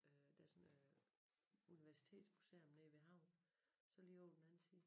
Øh der sådan øh universitetsmuseum nede ved æ havn så lige ovre på den anden side